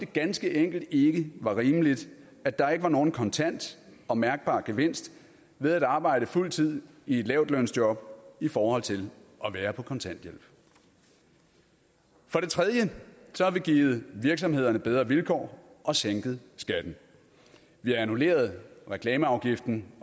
ganske enkelt ikke det var rimeligt at der ikke var nogen kontant og mærkbar gevinst ved at arbejde på fuld tid i et lavtlønsjob i forhold til at være på kontanthjælp for tredje har vi givet virksomhederne bedre vilkår og sænket skatten vi har annulleret reklameafgiften